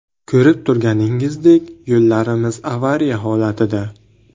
Ko‘rib turganingizdek, yo‘llarimiz avariya holatida.